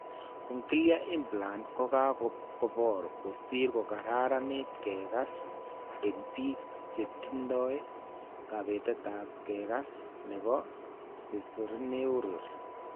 Cochlear implants ko kobor kosir kokararaniit keekaas eng' biik che tindo kabetap kekas ne po sesorineural.